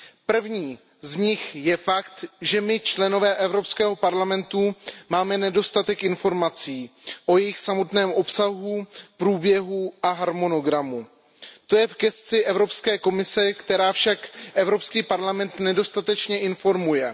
Prvním z nich je fakt, že my, členové Evropského parlamentu, máme nedostatek informací o jejich samotném obsahu, průběhu a harmonogramu. To je v gesci Evropské komise, která však Evropský parlament nedostatečně informuje.